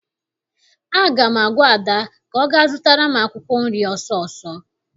Aga m agwa Ada ka ọ gaa zụtara m akwụkwọ nri ọsọọsọ!